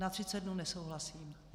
Na 30 dnů nesouhlasím.